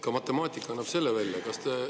Ka matemaatika annab selle tulemuse välja.